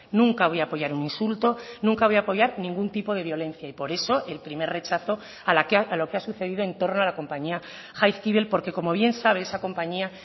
nunca voy a apoyar un insulto nunca voy a apoyar ningún tipo de violencia y por eso el primer rechazo a lo que ha sucedido en torno a la compañía jaizkibel porque como bien sabe esa compañía